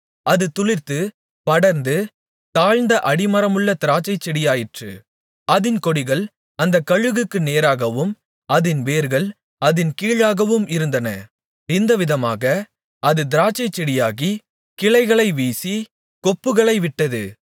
அது துளிர்த்து படர்ந்து தாழ்ந்த அடிமரமுள்ள திராட்சைச்செடியாயிற்று அதின் கொடிகள் அந்த கழுகுக்கு நேராகவும் அதின் வேர்கள் அதின் கீழாகவும் இருந்தன இந்த விதமாக அது திராட்சைச் செடியாகி கிளைகளை வீசி கொப்புகளைவிட்டது